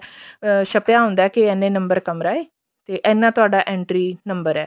ਅਮ ਛਪਿਆ ਹੁੰਦਾ ਕੇ ਇੰਨੇ number ਕਮਰਾ ਹੈ ਤੇ ਇੰਨਾ ਤੁਹਾਡਾ entry number ਹੈ